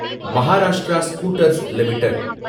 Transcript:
Maharashtra Scooters limited